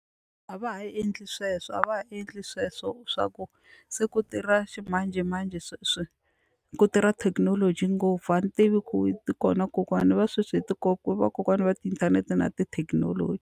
A va ha endli sweswo a va ha endli sweswo swa ku se ku tirha ximanjhemanjhe sweswi ku tirha thekinoloji ngopfu a ni tivi ku kona kokwana va sweswi hi ku vakokwana va tiinthanete na tithekinoloji.